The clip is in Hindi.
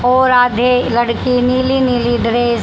और आधे लड़की नीली नीली ड्रेस --